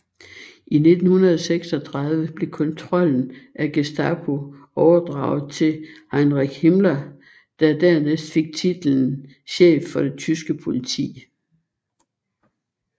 I 1936 blev kontrollen af Gestapo overdraget til Heinrich Himmler der dernæst fik titlen chef for det tyske politi